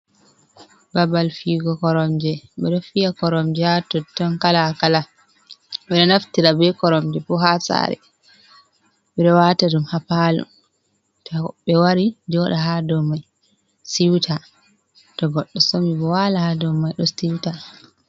Babal figo koromje, ɓeɗo fiya koromje haa totton kala-kala. Ɓeɗo naftira be koromje bo haa saare, ɓe ɗo waata ɗum haa paalo to hoɓɓe wari joɗa haa do mai siwta. To goɗɗo somi bo waala haa domai ɗo siwta.